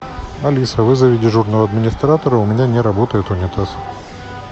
алиса вызови дежурного администратора у меня не работает унитаз